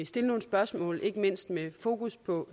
stille nogle spørgsmål ikke mindst med fokus på